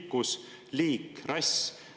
Pikkus, liik, rass?